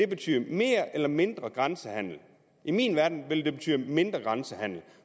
betyde mere eller mindre grænsehandel i min verden ville det betyde mindre grænsehandel